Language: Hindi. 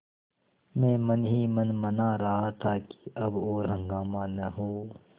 मैं मन ही मन मना रहा था कि अब और हंगामा न हो